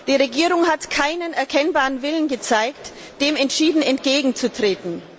Die Regierung hat keinen erkennbaren Willen gezeigt, dem entschieden entgegenzutreten.